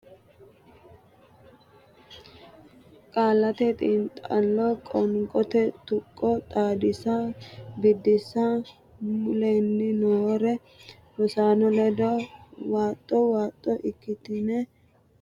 Qaallate Xiinxallo Qoonqote Tuqqo Xaadisa Biddissa Mule’ne noo rosaano ledo waaxo waaxo ikkitine aante shaete giddo shiqqinota qoonqote tuqqo xaadissinanni qaalla nabbabbe.